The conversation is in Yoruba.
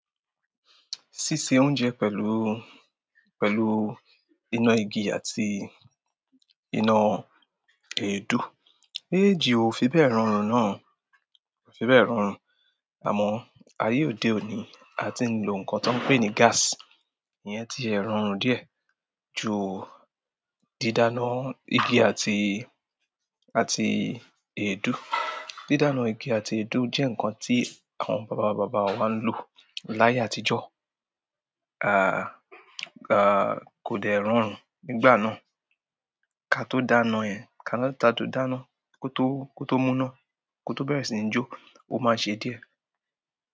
Ṣíṣe oúnjẹ pẹ̀lú, pẹ̀lú iná igi àti iná èédú, méjèèjì o fi bẹ rọrùn náà, kò fi bẹ rọrùn. Àmọ́ ayé òde òní, a ti ń lò ǹkan tó ń pè ni gas, iyẹn ti rọrùn díẹ̀ jù didana igi àti, àti èédú. Didana igi àti èédú jẹ ǹkan tí àwọn bàbá bàbá wa ń lo láàyè àtijọ́, kò dẹ̀ rọrùn nígbà náà. Ká tó dànù yẹn, ká tó dànù, kò tó, kò tó múná, kò tó bẹrẹ sí ní jó, ó má ṣe diẹ.